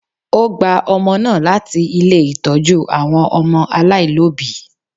O gba ọmọ náà láti ilé Ìtọ́jú àwọn ọmọ aláìlóbìí.